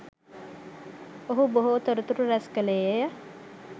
ඔහු බොහෝ තොරතුරු රැස් කළේය